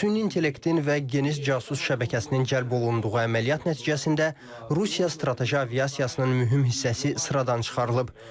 Süni intellektin və geniş casus şəbəkəsinin cəlb olunduğu əməliyyat nəticəsində Rusiya strateji aviasiyasının mühüm hissəsi sıradan çıxarılıb.